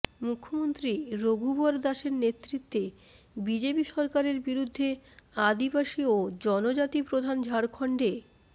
মুখ্যমন্ত্রী রঘুবর দাসের নেতৃত্বে বিজেপি সরকারের বিরুদ্ধে আদিবাসী ও জনজাতি প্রধান ঝাড়খণ্ডে